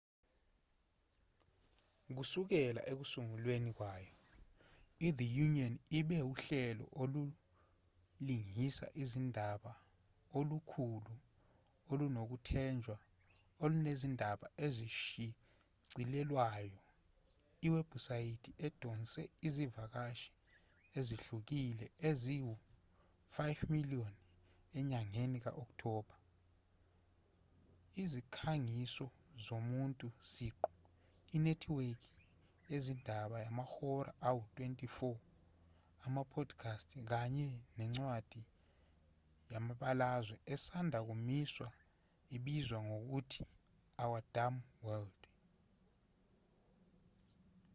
kusukela ekusungulweni kwayo ithe onion ibe uhlelo olulingisa izindaba olukhulu olunokwethenjelwa olunezindaba ezishicilelwayo iwebhusayithi edonse izivakashi ezihlukile ezi-5,000,000 enyangeni ka-okthoba izikhangiso zomuntu siqu inethiwekhi yezindaba yamahora angu-24 ama-podcast kanye nencwadi yamabalazwe esanda kumiswa ebizwa ngokuthi our dumb world